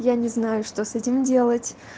я не знаю что с этим делать